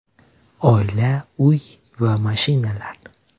Oila, uy va mashinalar.